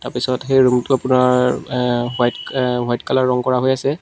তাৰ পিছত সেই ৰুমটো আপোনাৰ অ হোৱাইট অ হোৱাইট কালাৰ ৰং কৰা হৈ আছে।